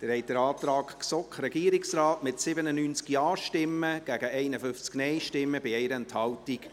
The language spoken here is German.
Sie haben den Antrag GSoK / Regierungsrat angenommen, mit 97 Ja- gegen 51 Nein-Stimmen bei 1 Enthaltung.